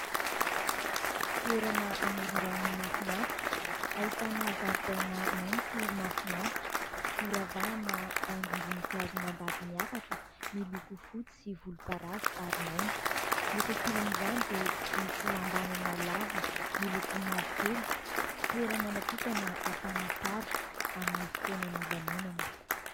Toerana amoron-drano mahafinaritra ahitana zaridaina maitso mahafinaritra noravahana haingom-boninkazo mandady miakatra miloko fotsy sy volomparasy ary maitso. Ny etsy ankilan'izany dia misy lambanana lava miloko mavokely : toerana natokana hakàna sary amin'ny fotoanan'ny lanonana.